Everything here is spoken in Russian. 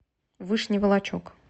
вышний волочек